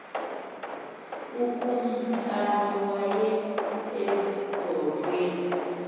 ukumkani waya ebhotweni